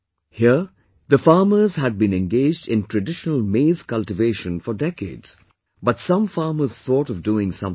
Here, the farmers had been engaged in traditional maize cultivation for decades, but some farmers thought of doing something different